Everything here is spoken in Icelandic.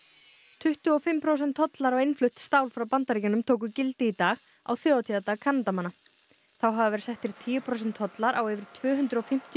tuttugu og fimm prósent tollar á innflutt stál frá Bandaríkjunum tóku gildi í dag á þjóðhátíðardag Kanadamanna þá hafa verið settir tíu prósent tollar á yfir tvö hundruð og fimmtíu